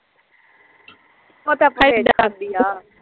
ਉਹ ਤਾਂ ਆਪਾਂ ਈ ਆਉਂਦੀ ਆ